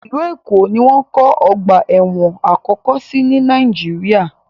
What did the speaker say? Ìlú Èkó ni wọ́n kọ́ ọ̀gba ẹ̀wọ̀n àkọ́kọ́ sí ní Nàìjíríà.